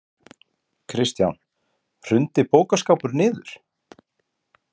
Kristján: Hrundi bókaskápur niður?